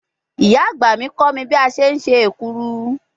Iya agba mi ko mi bi a se se ekuru